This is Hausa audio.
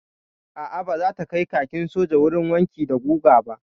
A'a baza ta kai kakin soja wurin wanki da guga ba.